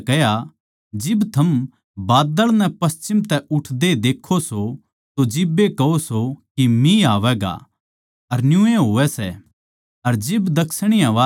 यीशु नै भीड़ तै कह्या जिब थम बाद्दळ नै पश्चिम तै उठदे देक्खो सो तो जिब्बे कहो सो के मिह आवैगा अर न्यूए होवै सै